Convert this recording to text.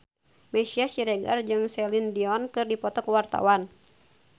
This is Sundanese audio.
Meisya Siregar jeung Celine Dion keur dipoto ku wartawan